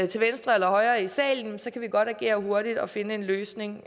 til venstre eller højre i salen så kan vi godt agere hurtigt og finde en løsning